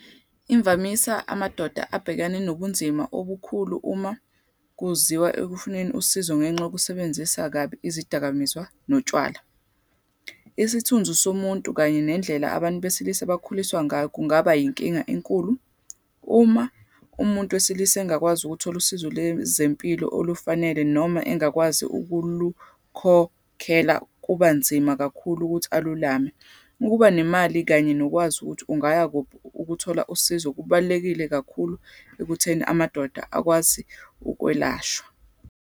Imvamisa, amadoda abhekane nobunzima obukhulu uma kuziwa ekufuneni usizo ngenxa yokusebenzisa kabi izidakamizwa notshwala. Isithunzi somuntu, kanye nendlela abantu besilisa bakhuliswa ngayo kungaba yinkinga enkulu, uma umuntu wesilisa engakwazi ukuthola usizo lwezempilo olufanele, noma engakwazi ukulukhokhela, kuba nzima kakhulu ukuthi alulame. Ukuba nemali, kanye nokwazi ukuthi ungaya ukuthola usizo, kubalulekile kakhulu ekutheni amadoda akwazi ukwelashwa.